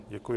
Děkuji.